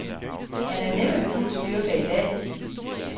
Han er næppe ved fuld styrke i dag.